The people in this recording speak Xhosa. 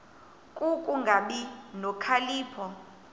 ku kungabi nokhalipho